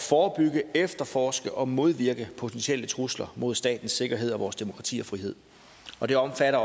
forebygge efterforske og modvirke potentielle trusler mod statens sikkerhed og vores demokrati og frihed og det omfatter